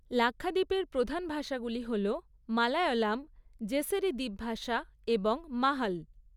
লাক্ষাদ্বীপের প্রধান ভাষাগুলি হল মালায়লাম, জেসেরি দ্বীপ ভাষা এবং মাহ্‌ল।